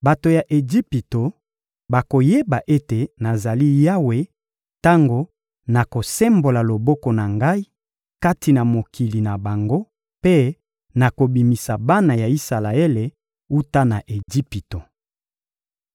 Bato ya Ejipito bakoyeba ete nazali Yawe tango nakosembola loboko na Ngai kati na mokili na bango mpe nakobimisa bana ya Isalaele wuta na Ejipito.»